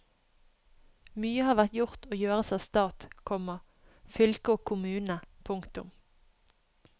Mye har vært gjort og gjøres av stat, komma fylke og kommune. punktum